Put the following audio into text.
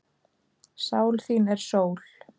Sál þín er sól.